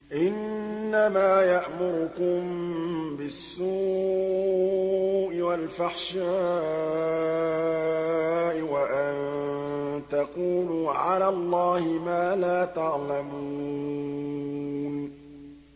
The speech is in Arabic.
إِنَّمَا يَأْمُرُكُم بِالسُّوءِ وَالْفَحْشَاءِ وَأَن تَقُولُوا عَلَى اللَّهِ مَا لَا تَعْلَمُونَ